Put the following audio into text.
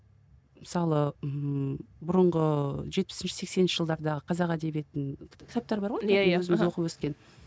мысалы ммм бұрынғы жетпісінші сексенінші жылдардағы қазақ әдебиетінің кітаптары бар оқып өскен